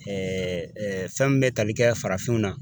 fɛn min bɛ tali kɛ farafinw na